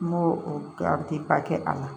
N b'o o kɛ a ti pa kɛ a la